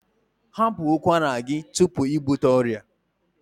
Hapụ ụkwara gị tupu ị bute ọrịa!